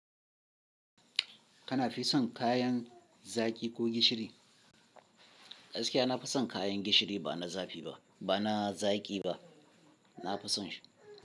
Ka fison kayan zaki ko na gishiri, gaskiya nafi son kayan gishiri bana zaki ba.